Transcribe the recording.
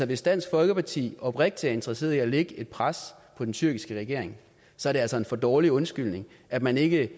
hvis dansk folkeparti oprigtigt interesseret i at lægge et pres på den tyrkiske regering så er det altså en for dårlig undskyldning at man ikke